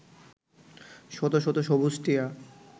শত শত সবুজ টিয়া